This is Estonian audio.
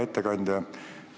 Hea ettekandja!